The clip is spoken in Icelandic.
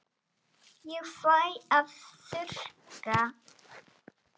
Ég fæ að þurrka.